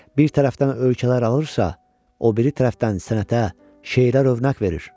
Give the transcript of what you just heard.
Bir tərəfdən ölkələr alırsa, o biri tərəfdən sənətə, şeirə övnək verir.